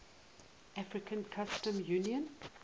african customs union